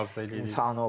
Uğurlar arzu edirik.